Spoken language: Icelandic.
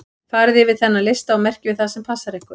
Farið yfir þennan lista og merkið við það sem passar við ykkur.